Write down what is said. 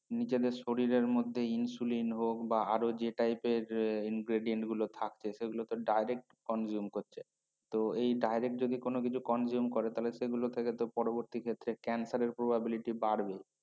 নিজেদের শরীরের মধ্যে insulin হক বা আর যে Typer ingredients গুলো থাকে সেগুলো তো direct conjuguemos করছে তো এই direct যদি কোন কিছু conjuguemos করে তাইলে সে গুলো থেকে তো পরবর্তী ক্ষেত্রে Censer probability বাড়বে